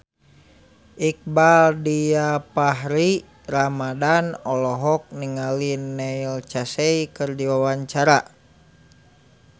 Iqbaal Dhiafakhri Ramadhan olohok ningali Neil Casey keur diwawancara